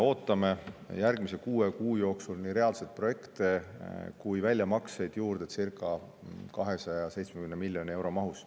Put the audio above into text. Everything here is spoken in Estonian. Ootame järgmise kuue kuu jooksul seda, et tehtaks juurde nii reaalseid projekte kui ka väljamakseid circa 270 miljoni euro mahus.